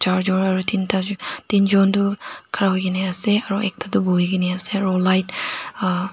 tinta jun tin jun tu khara kurigine ase aro ekta tu buhigine ase aro light uh--